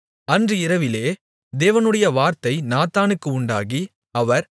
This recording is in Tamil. அன்று இரவிலே தேவனுடைய வார்த்தை நாத்தானுக்கு உண்டாகி அவர்